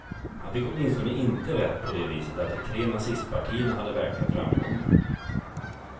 Han fick åtminstone inte rätt på det viset att de tre nazistpartierna hade verkliga framgångar.